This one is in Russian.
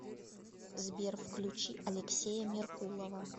сбер включи алексея меркулова